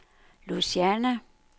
Lausanne